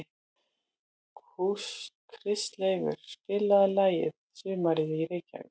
Kristleifur, spilaðu lagið „Sumarið í Reykjavík“.